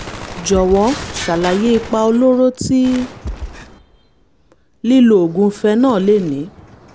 jọ̀wọ́ ṣàlàyé ipa olóró tí lílo oògùn phenol lè ní